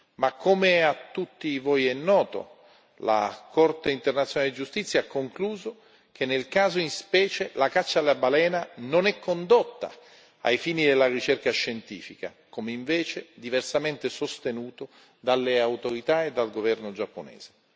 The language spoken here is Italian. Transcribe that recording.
Ma come a tutti voi è noto, la Corte internazionale di giustizia ha concluso che, nel caso in specie, la caccia alla balena non è condotta ai fini della ricerca scientifica, come invece diversamente sostenuto dalle autorità e dal governo giapponese.